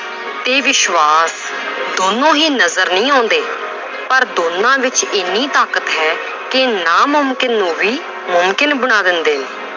ਤੇ ਵਿਸ਼ਵਾਸ ਦੋਨੋਂ ਹੀ ਨਜ਼ਰ ਨਹੀਂ ਆਉਂਦੇ ਪਰ ਦੋਨਾਂ ਵਿੱਚ ਇੰਨੀ ਤਾਕਤ ਹੈ ਕਿ ਨਾਮੁਕਿਨ ਨੂੰ ਵੀ ਮੁਕਿੰਨ ਬਣਾ ਦਿੰਦੇ ਨੇ।